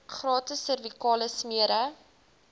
gratis servikale smere